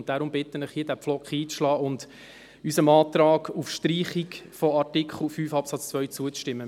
Deshalb bitte ich Sie, diesen Pflock hier einzuschlagen und unserem Antrag auf Streichung von Artikel 5 Absatz 2 zuzustimmen.